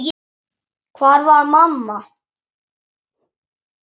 Hvar var mamma?